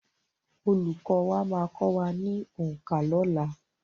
Olùkọ́ wa máa kọ wá òǹkà ní ọ̀la.